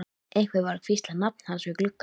Einhver var að hvísla nafn hans við gluggann.